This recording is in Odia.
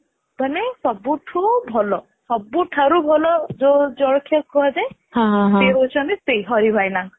ମାନେ ସବୁ ଠୁ ଭଲ ସବୁଠାରୁ ଭଲ ଯୋଉ ଜଳଖିଆ କୁହା ଯାଏ ସେ ହେଉଛନ୍ତି ସେଇ ହଋ ଭାଇନା